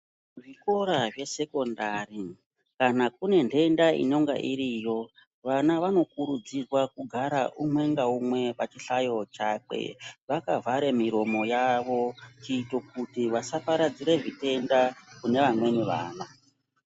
Zvikora zvesekondari kana kune ndenda inonga iriyo vana vanokurudzirwa kugara umwe ngaumwe pachihlayo chakwe vakavhare muromo yavo kuiti kuti vasaparadze zviyenda kune vamweni vana.